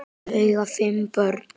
Þau eiga fimm börn